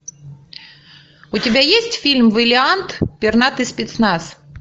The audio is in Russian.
у тебя есть фильм вэлиант пернатый спецназ